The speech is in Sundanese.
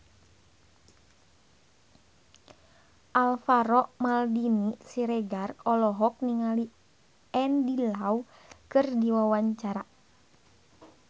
Alvaro Maldini Siregar olohok ningali Andy Lau keur diwawancara